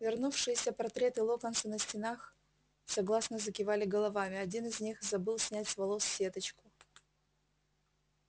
вернувшиеся портреты локонса на стенах согласно закивали головами один из них забыл снять с волос сеточку